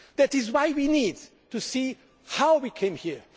full. That is why we need to see how we came